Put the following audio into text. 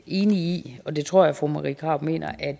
i og det tror jeg fru marie krarup mener at